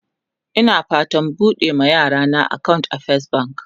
Ina fatan buɓuɗe ma yarana akawunt a fes bank